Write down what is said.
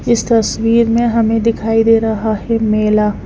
इस तस्वीर में हमें दिखाई दे रहा है मेला--